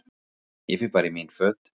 Ég fer bara í mín föt.